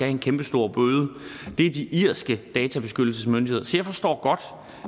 en kæmpestor bøde det er de irske databeskyttelsesmyndigheder så jeg forstår godt